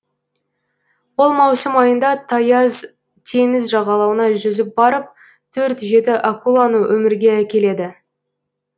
ол маусым айында таяз теңіз жағалауына жүзіп барып төрт жеті акуланы өмірге әкеледі